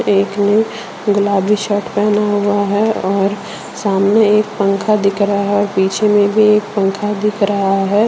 एक ने गुलाबी शर्ट पहना हुआ है और सामने एक पंखा दिख रहा है पीछे में भी एक पंखा दिख रहा है।